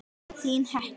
Þín Hekla.